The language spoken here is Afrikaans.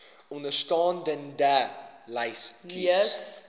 onderstaande lys kies